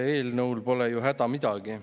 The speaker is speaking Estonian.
Eelnõul pole ju häda midagi.